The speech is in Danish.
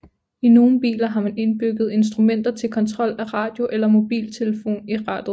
I nogle biler har man indbygget instrumenter til kontrol af radio eller mobiltelefon i rattet